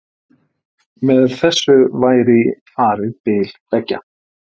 Með þessu væri farið bil beggja